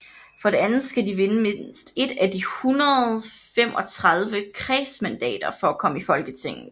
For det andet skal de vinde mindst ét af de 135 kredsmandater for at komme i Folketinget